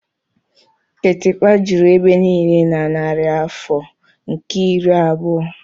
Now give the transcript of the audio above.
kịtịkpa juru ebe niile na narị afọ nke iri abụọ.